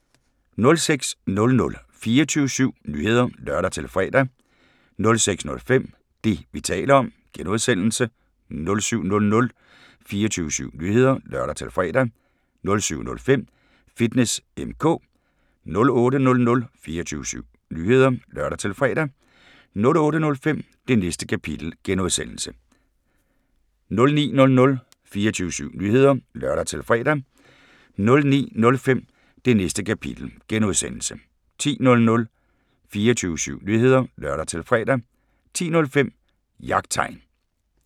06:00: 24syv Nyheder (lør-fre) 06:05: Det, vi taler om (G) 07:00: 24syv Nyheder (lør-fre) 07:05: Fitness M/K 08:00: 24syv Nyheder (lør-fre) 08:05: Det Næste Kapitel (G) 09:00: 24syv Nyheder (lør-fre) 09:05: Det Næste Kapitel (G) 10:00: 24syv Nyheder (lør-fre) 10:05: Jagttegn